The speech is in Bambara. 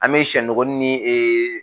An mi sɛnogoni ni